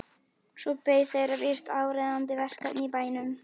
Svo beið þeirra víst áríðandi verkefni í bænum.